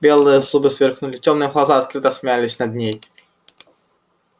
белые зубы сверкнули тёмные глаза открыто смеялись над ней